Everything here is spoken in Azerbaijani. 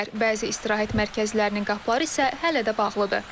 Bəzi istirahət mərkəzlərinin qapıları isə hələ də bağlıdır.